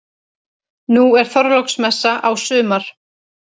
Nú er Þorláksmessa á sumar.